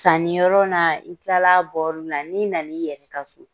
Sanni yɔrɔ na i tila la a n'i na na i yɛrɛ ka so.